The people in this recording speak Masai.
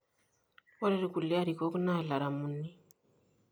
Ore irkulie arikok naa ilaramuni.